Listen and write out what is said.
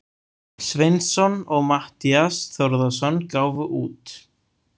Sveinsson og Matthías Þórðarson gáfu út.